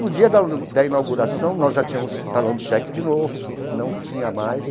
No dia da da inauguração, nós já tínhamos talão de cheque de novo, não tinha mais.